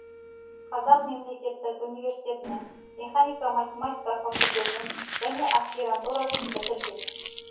қазақ мемлекеттік университетінің механика математика факультетін және аспирантурасын бітірген